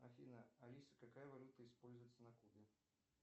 афина алиса какая валюта используется на кубе